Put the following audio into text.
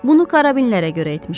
Bunu karabinlərə görə etmişəm.